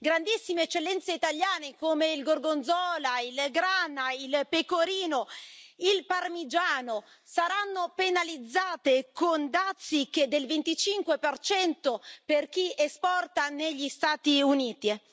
Grandissime eccellenze italiane, come il gorgonzola, il grana, il pecorino e il parmigiano, saranno penalizzate con dazi fino al 25 per chi esporta negli Stati Uniti.